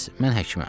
mən həkiməm.